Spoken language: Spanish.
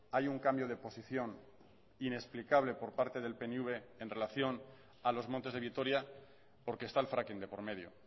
hay un cambio de posición inexplicable por parte del pnv en relación a los montes de vitoria porque está el fracking de por medio